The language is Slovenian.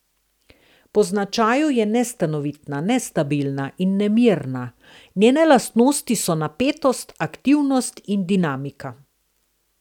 Po značaju je nestanovitna, nestabilna in nemirna, njene lastnosti so napetost, aktivnost in dinamika.